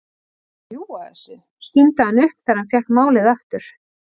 Ertu að ljúga þessu? stundi hann upp þegar hann fékk málið aftur.